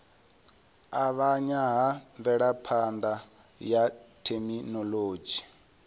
avhanya ha mvelaphana ya thekhinolodzhi